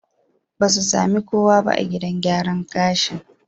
Ba su sami kowa ba a gidan gyaran gashin.